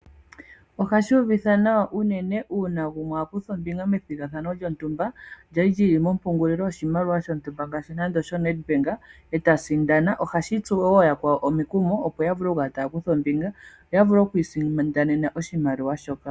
Ohashi uvitha nawa uunene uuna gumwe a kutha ombinga methigathano lyontumba lya li lyi li mompungulilo lyoshimaliwa shontumba ngaashi nande osho Nedbank eta sindana. Ohashi tsu wo yakwawo omikumo opo ya vule oku kala taya kutha ombinga yo ya vule okwiisindanena oshimaliwa shoka.